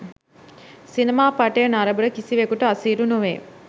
සිනමා පටය නරඹන කිසිවෙකුට අසීරු නොවේ